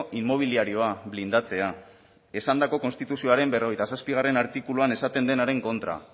inmobiliarioa blindatzea esandako konstituzioaren berrogeita zazpigarrena artikuluan esaten denaren kontra